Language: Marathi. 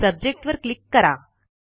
सब्जेक्ट वर क्लिक करा